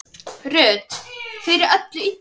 Ruth fyrir öllu illu.